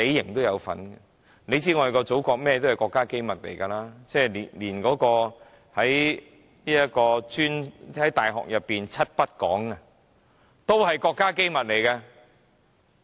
大家也知道祖國的一切都是國家機密，大學裏的"七不講"都是國家機密。